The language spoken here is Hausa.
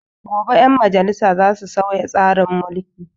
Gobe 'ƴan majalisa za su sauya tsarin mulki.